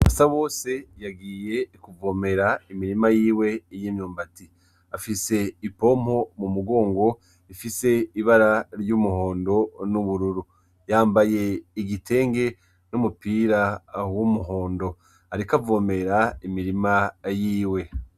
Basabose yagiye kuvomera imirima yiwe y'imyumbati afise ipompo mumugongo ifise ibara w'umuhondo n'ubururu yambaye igitenge numupira y'umuhondo ariko avomerera imirima yiwe.